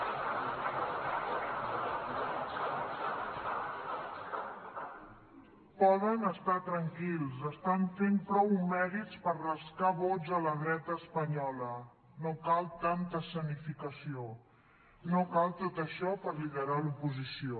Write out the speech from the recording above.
poden estar tranquils estan fent prou mèrits per rascar vots a la dreta espanyola no cal tanta escenificació no cal tot això per liderar l’oposició